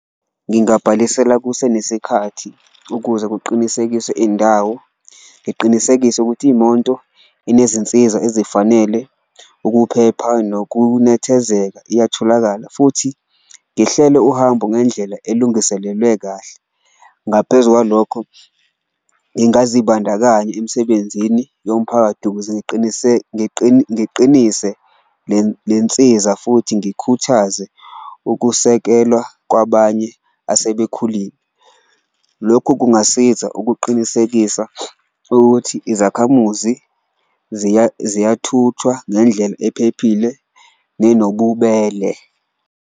Ngingabhalisela kusenesikhathi ukuze kuqinisekiswe indawo, ngiqinisekise ukuthi imonto anezinsiza ezifanele ukuphepha nokunethezeka iyatholakala futhi ngihlele uhambo ngendlela elungiselelwe kahle. Ngaphezu kwalokho, ngingazibandakanya emsebenzini yomphakathi ukuze ngiqinise lensiza futhi ngikhuthaze ukusekelwa kwabanye asebekhulile. Lokhu kungasiza ukuqinisekisa ukuthi izakhamuzi ziyathuthwa ngendlela ephephile nenobubele.